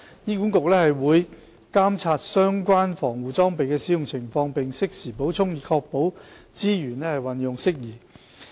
醫管局會監察相關防護裝備的使用情況，並適時補充，以確保資源運用得宜。